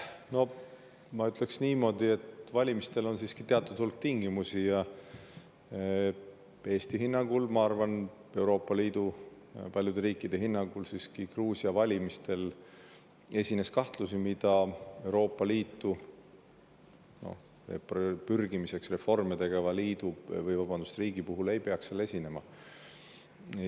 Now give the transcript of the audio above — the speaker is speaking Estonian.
Ma ütleksin niimoodi, et valimistel on teatud hulk tingimusi ja Eesti hinnangul, ma arvan, Euroopa Liidu paljude riikide hinnangul, Gruusia valimistel siiski esines kahtlusi, mida Euroopa Liitu pürgimiseks reforme tegeva riigi puhul ei peaks esinema.